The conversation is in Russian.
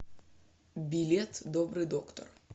билет добрый доктор